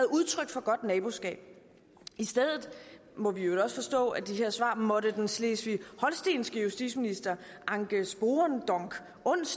udtryk for godt naboskab i stedet må vi i øvrigt også forstå at de her svar måtte den slesvig holstenske justitsminister anke spoorendonk onsdag